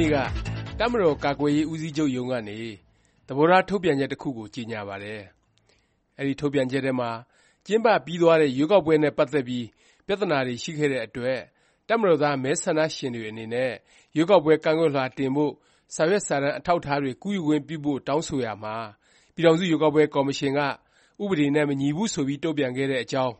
နေ့က တပ်မတော် ကာကွယ်ရေး ဦးစီးချုပ်ရုံးကနေ “ သဘောထား ထုတ်ပြန်ချက်” တစ်ခုကို ကြေညာပါတယ်။ အဲဒီ ထုတ်ပြန်ချက်ထဲမှာ ကျင်းပပြီးသွားတဲ့ ရွေးကောက်ပွဲ နဲ့ ပတ်သက်ပြီး ပြသနာတွေ ရှိခဲ့တဲ့အတွက် တပ်မတော်သား မဲဆန္ဒရှင်တွေ အနေနဲ့ ရွေးကောက်ပွဲ ကန့်ကွက်လွှာ တင်ဖို့ စာရွက်စာတမ်း အထောက်အထားတွေ ကူးယူခွင့်ပြုဖို့ တောင်းဆိုရာမှာ ပြည်ထောင်စု ရွေးကောက်ပွဲ ကော်မရှင်က ဥပဒေနဲ့ မညီဘူး ဆိုပြီးတုန့်ပြန်ခဲ့တဲ့ အကြောင်း